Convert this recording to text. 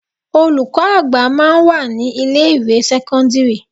Olùkọ́ àgbà máa ń wà ní ilé ìwé sẹ́kọ́ńdírì.